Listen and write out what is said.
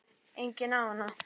Enginn á hana.